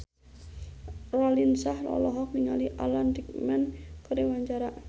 Raline Shah olohok ningali Alan Rickman keur diwawancara